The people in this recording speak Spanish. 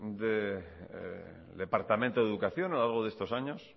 del departamento de educación a lo largo de estos años